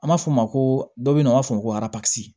An b'a fɔ o ma ko dɔ bɛ yen nɔ an b'a fɔ o ma ko